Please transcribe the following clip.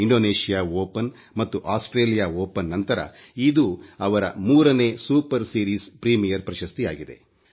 Indonesia Open ಮತ್ತು Australia Open ನಂತರಇದು ಅವರ ಮೂರನೇ ಸೂಪರ್ ಸೀರೀಸ್ ಪ್ರೀಮಿಯರ್ ಪ್ರಶಸ್ತಿಯಾಗಿದೆ